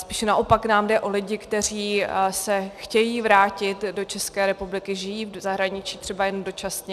Spíše naopak nám jde o lidi, kteří se chtějí vrátit do České republiky, žijí v zahraničí třeba jen dočasně.